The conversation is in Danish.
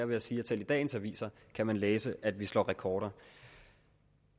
ved at sige at selv i dagens aviser kan man læse at vi slår rekorder